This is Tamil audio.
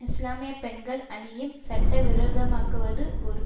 இஸ்லாமிய பெண்கள் அணியும் சட்டவிரோதமாக்குவது ஒரு